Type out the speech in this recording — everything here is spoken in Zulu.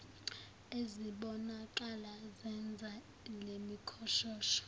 ezibonakala zenza lemikhoshosho